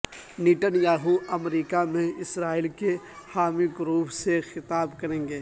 Nitin Yahoo امریکہ میں اسرائیل کے حامی گروپ سے خطاب کریں گے